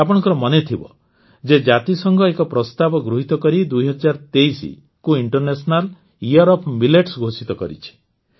ଆପଣଙ୍କର ମନେଥିବ ଯେ ଜାତିସଂଘ ଏକ ପ୍ରସ୍ତାବ ଗୃହୀତ କରି ୨୦୨୩ ଦୁଇ ହଜାର ତେଇଶକୁ ଇଂଟରନେସନାଲ୍ ଇୟର୍ ଅଫ୍ ମିଲେଟ୍ସ ଘୋଷିତ କରିଛି